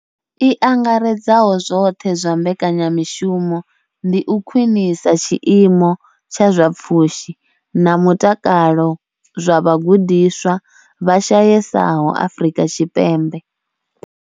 I angaredzaho zwoṱhe ya mbekanya mushumo ndi u khwinisa tshiimo tsha zwa pfushi na mutakalo zwa vhagudiswa vha shayesaho Afrika Tshipembe.